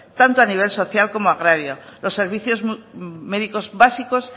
tanto a nivel social como agrario los servicios médicos básicos